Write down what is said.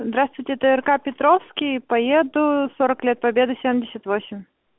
здравствуйте трк петровский поеду сорок лет победы семьдесят восемь